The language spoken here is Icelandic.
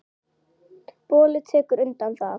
Bolli tekur undir það.